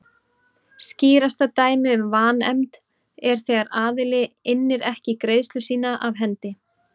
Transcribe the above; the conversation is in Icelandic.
Skýrasta dæmið um vanefnd er þegar aðili innir ekki greiðslu sína af hendi.